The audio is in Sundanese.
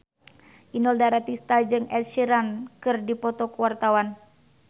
Inul Daratista jeung Ed Sheeran keur dipoto ku wartawan